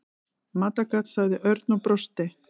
Matargat sagði Örn og brosti.